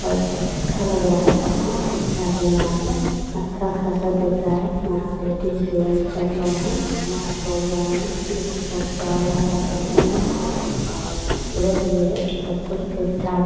और बहोत अच्छा लग रहा है सब कुछ ठीक ठाक है यहाँ पर अच्छा खासा दिख रहा है। यहाँ लेडीज़ जेंट्स सब लोग हैं धुवां छोड़ रहे हैं लोग जो की बहोत बड़ा लग रहा है देखने में और खूबसूरत भी हैसबकुछ ठीक ठाक --